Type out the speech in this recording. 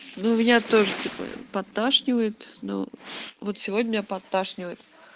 ну меня тоже типа подташнивает но вот сегодня подташнивает